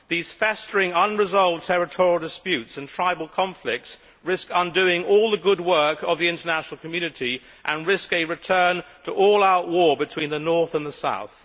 These festering, unresolved territorial disputes and tribal conflicts risk undoing all the good work of the international community and risk a return to all out war between the north and the south.